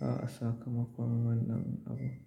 A'a, sakamakon wannan abu.